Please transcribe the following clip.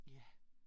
Ja